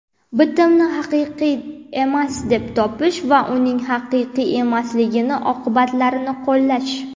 bitimni haqiqiy emas deb topish va uning haqiqiy emasligi oqibatlarini qo‘llash;.